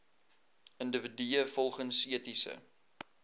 individue volgens etiese